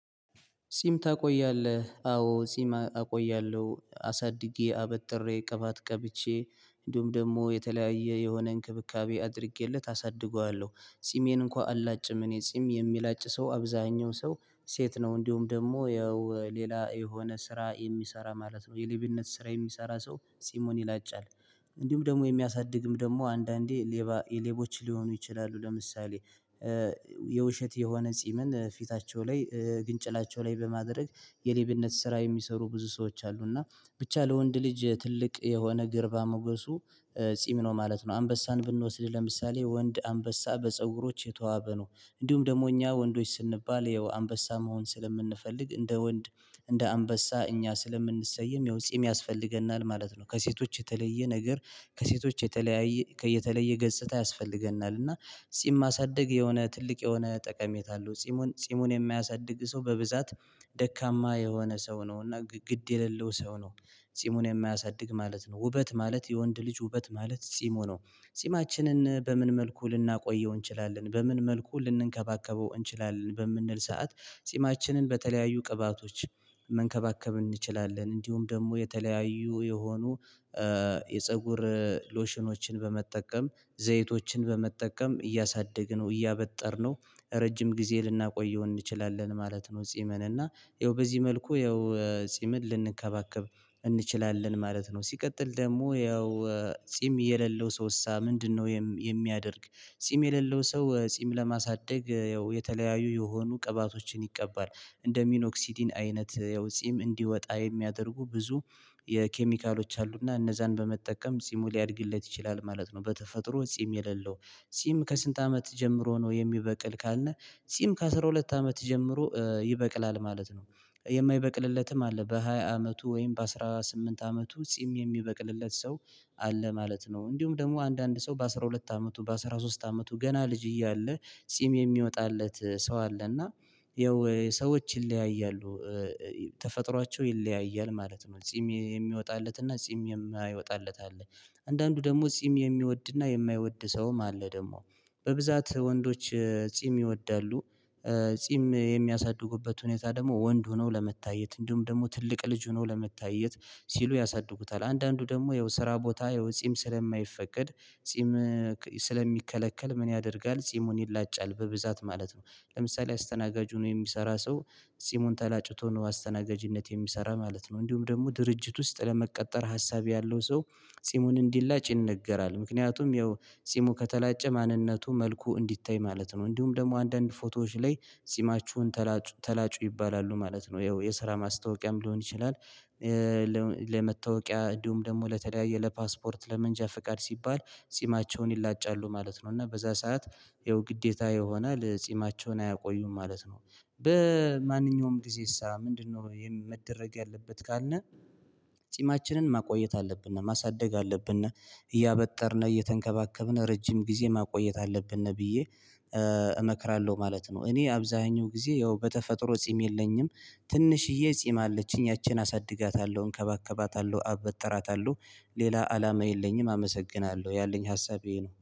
ጺም ታቆያለህ አዎ ጺም አቆያለሁ አሳድጌ አበጥሬ ቅባት ቀብቼ እንዲሁም ደግሞ የተለያየ የሆነ እንክብካቤ አድርጌለት አሳድገዋለሁ ጺሜን እንኳን አላጭም እኔ ጺም የሚለጭ ሰው አብዛሀኛው ሰው ሴት ነው እንዲሁም ደግሞ ያው ሌላ የሆነ ስራ የሚሰራ ማለት ነው የሌብነት ስራ የሚሰራ ሰው ጺሙን ይላጫል። እንዲሁም ደግሞ የሚያሳድግም ደግሞ አንዳንዴ ሌባ የሌቦች ሊሆኑ ይችላሉ። ለምሳሌ የውሸት የሆነ ጺምን ፊታቸው ላይ ግንጭላቸው ላይ በማድረግ የሌብነት ስራ የሚሰሩ ብዙ ሰዎች አሉ። እና ብቻ ለወንድ ልጅ ትልቅ የሆነ ግርባ ሞገሱ ጺም ነው ማለት ነው። አንበሳን ብንወስድ ለምሳሌ ወንድ አንበሳ በፀጉሮች የተዋበ ነው። እንዲሁም ደግሞ እኛ ወንዶች ስንባል ይኸው አንበሳ መሆን ስለምንፈልግ እንደ ወንድ እንደ አንበሳ እኛ ስለምንሰይም ይኸው ጺም ያስፈልገናል ማለት ነው። ከሴቶች የተለየ ነገር ከሴቶች የተለያየ የተለየ ገጽታ ያስፈልገናል እና ጺም ማሳደግ የሆነ ትልቅ የሆነ ጠቀሜታ አለው። ጺሙን ጺሙን የማያሳድግ ሰው በብዛት ደካማ የሆነ ሰው ነው እና ግድ የሌለው ሰው ነው። ጺሙን የማያሳድግ ማለት ነው ውበት ማለት የወንድ ልጅ ውበት ማለት ጺሙ ነው። ጺማችንን በምን መልኩ ልናቆየው እንችላለን በምን መልኩ ልንከባከበው እንችላለን በምንል ሰዓት? ጺማችንን በተለያዩ ቅባቶች መንከባከብ እንችላለን እንዲሁም ደግሞ የተለያዩ የሆኑ የፀጉር ሎሽኖችን በመጠቀም ዘይቶችን በመጠቀም እያሳደግነው እያበጠርነው ረጅም ጊዜ ልናቆየው እንችላለን ማለት ነው። ጺምን እና ይኸው በዚህ መልኩ ይኸው ጺምን ልንከባከብ እንችላለን ማለት ነው። ሲቀጥል ደግሞ ይኸው ጺም የሌለው ሰው እሳ ምንድነው? የሚያደርግ ጺም የሌለው ሰው ጺም ለማሳደግ ያው የተለያዩ የሆኑ ቅባቶችን ይቀባል እንደ ሚኖክሲዲን አይነት ያው ጺም እንዲወጣ የሚያደርጉ ብዙ የኬሚካሎች አሉና እነዛን በመጠቀም ጺሙ ሊያድግለት ይችላል ማለት ነው። በተፈጥሮ ጺም የሌለው ጺም ከስንት አመት ጀምሮ ነው የሚበቅል ካልነ? ጺም ከአሥራ ሁለት አመት ጀምሮ ይበቅላል ማለት ነው። የማይበቅልለትም አለ በሃያ አመቱ ወይም በአሥራ ስምንት አመቱ ጺም የሚበቅልለት ሰው አለ ማለት ነው። እንዲሁም ደግሞ አንዳንድ ሰው በአሥራ ሁለት አመቱ በአሥራ ሶስት አመቱ ገና ልጅ እያለ ጺም የሚወጣለት ሰው አለ እና ያው ሰዎች ይለያያሉ። ተፈጥሯቸው ይለያያል ማለት ነው። ጺም የሚወጣለትና ጺም የማይወጣለት አለ። አንዳንዱ ደግሞ ጺም የሚወድና የማይወድ ሰውም አለ ደግሞ በብዛት ወንዶች ጺም ይወዳሉ። ጺም የሚያሳድጉበት ሁኔታ ደግሞ ወንድ ሆነው ለመታየት እንዲሁም ደግሞ ትልቅ ልጅ ሆኖ ለመታየት ሲሉ ያሳድጉታል። አንዳንዱ ደግሞ ያው ስራ ቦታ ያው ጺም ስለማይፈቀድ ጺም ስለሚከለከል ምን ያደርጋል ጺሙን ይላጫል በብዛት ማለት ነው። ለምሳሌ አስተናጋጅ ሁኖ የሚሰራ ሰው ጺሙን ተላጭቶ ነው አስተናጋጅነት የሚሰራ ማለት ነው። እንዲሁም ደግሞ ድርጅት ውስጥ ለመቀጠር ሀሳብ ያለው ሰው ጺሙን እንዲላጭ ይነገራል ምክንያቱም ያው ጺሙ ከተላጨ ማንነቱ መልኩ እንዲታይ ማለት ነው። እንዲሁም ደግሞ አንዳንድ ፎቶዎች ላይ ጺማችሁን ተላጩ ተላጩ ይባላሉ ማለት ነው። ይኸው የስራ ማስታወቂያም ሊሆን ይችላል። ለመታወቂያ እንዲሁም ደግሞ ለተለያየ ለፓስፖርት ለመንጃ ፍቃድ ሲባል ጺማቸውን ይላጫሉ ማለት ነው። እና በዛ ሰዓት ይሄው ግዴታ ይሆናል ጺማቸውን አያቆዩም ማለት ነው። በማንኛውም ጊዜሳ ምንድነው? የመደረግ ያለበት ካልነ ጺማችንን ማቆየት አለብነ ማሳደግ አለብነ እያበጠርነ እየተንከባከብነ ረጅም ጊዜ ማቆየት አለብነ ነብዬ እመክራለሁ ማለት ነው። እኔ አብዛሀኛው ጊዜ ያው በተፈጥሮ ጺም የለኝም። ትንሽዬ ጺም አለችኝ ያቺን አሳድጋታለሁ እንከባከባታለሁ አበጥራታለሁ ሌላ አላማ የለኝም አመሰግናለሁ ያለኝ ሀሳቤ ነው